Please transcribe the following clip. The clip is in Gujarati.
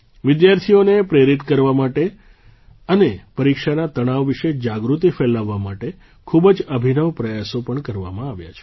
વિદ્યાર્થીઓને પ્રેરિત કરવા માટે અને પરીક્ષાના તણાવ વિશે જાગૃતિ ફેલાવવા માટે ખૂબ જ અભિનવ પ્રયાસો પણ કરવામાં આવ્યા છે